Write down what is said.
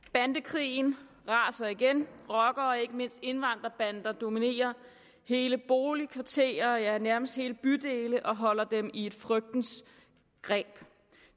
bandekrigen raser igen rockere og ikke mindst indvandrerbander dominerer hele boligkvarterer ja nærmest hele bydele og holder dem i et frygtens greb